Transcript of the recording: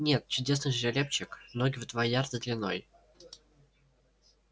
нет чудесный жеребчик ноги в два ярда длиной